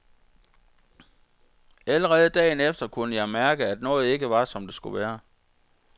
Allerede dagen efter kunne jeg mærke, at noget ikke var som det skulle være.